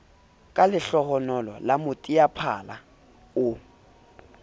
ka lehlohonolo la moteaphala o